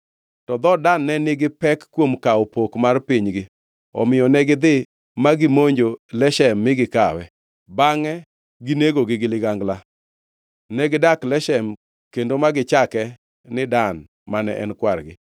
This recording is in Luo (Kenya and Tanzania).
To dhood Dan ne nigi pek kuom kawo pok mar pinygi, omiyo negidhi ma gimonjo Leshem mi gikawe, bangʼe ginegogi gi ligangla. Negidak Leshem kendo ma gichake ni Dan mane en kwargi.